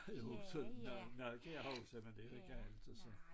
Også når når det er jo sådan er det ik og altså så